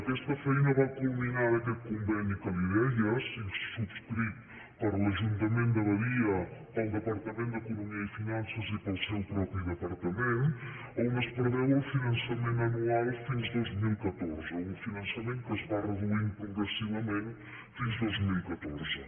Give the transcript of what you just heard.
aquesta feina va culminar en aquest conveni que li deia subscrit per l’ajuntament de badia pel departament d’economia i finances i pel seu propi departament on es preveu el finançament anual fins al dos mil catorze un finançament que es va reduint progressivament fins al dos mil catorze